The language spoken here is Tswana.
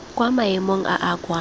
kwa maemong a a kwa